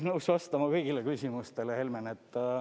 Ma olen nõus vastama kõigile küsimustele, Helmen.